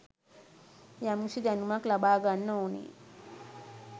යම්කිසි දැනුමක් ලබාගන්න ඕනෙ.